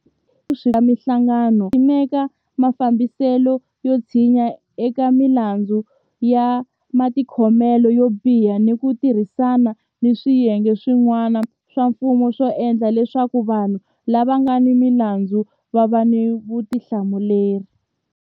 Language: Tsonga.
Yuniti yi ta antswisa vuswikoti exikarhi ka mihlangano ya mfumo ku simeka mafambiselo yo tshinya eka milandzu ya matikhomelo yo biha ni ku ti rhisana ni swiyenge swi n'wana swa mfumo ku endla leswaku vanhu lava nga ni milandzu va va ni vuthla muleri.